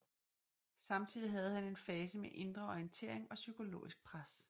Samtidig havde han en fase med indre orientering og psykologisk pres